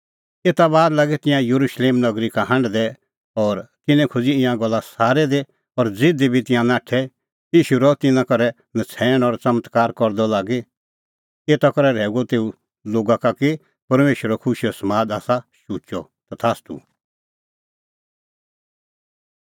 एता बाद लागै तिंयां येरुशलेम नगरी का हांढदै और तिन्नैं खोज़ी ईंयां गल्ला सारै दी और ज़िधी बी तिंयां नाठै ईशू रहअ तिन्नां करै नछ़ैण और च़मत्कार करदअ लागी एता करै रहैऊअ तेऊ लोगा का कि परमेशरो खुशीओ समाद आसा शुचअ तथास्तू